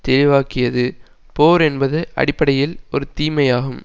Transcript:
தெளிவாக்கியது போர் என்பது அடிப்படையில் ஒரு தீமையாகும்